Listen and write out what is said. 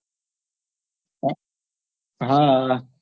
હા હા